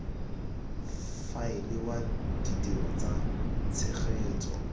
faela wa ditiro tsa tshegetso